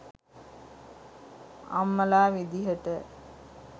අම්මලා විදියට